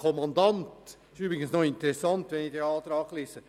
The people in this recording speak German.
Es ist interessant, den Antrag zu lesen;